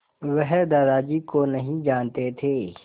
वह दादाजी को नहीं जानते थे